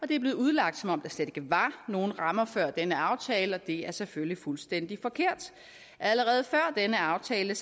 det er blevet udlagt som om der slet ikke var nogen rammer før denne aftale og det er selvfølgelig fuldstændig forkert allerede før denne aftale